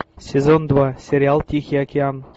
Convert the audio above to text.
сезон два сериал тихий океан